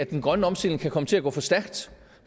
den grønne omstilling kan komme til at gå for stærkt